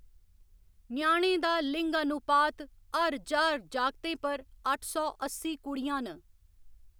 ञयानें दा लिंगानुपात हर ज्हार जागतें पर अट्ठ सौ अस्सी कुड़ियां न।